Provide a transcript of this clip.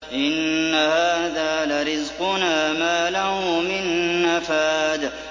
إِنَّ هَٰذَا لَرِزْقُنَا مَا لَهُ مِن نَّفَادٍ